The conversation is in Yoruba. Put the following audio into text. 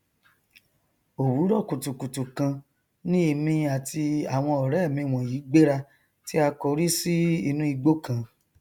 òwúrọ kùtùkùtù kan ni èmi àti àwọn ọrẹ mi wọnyí gbéra tí a kórí sí inú igbó kan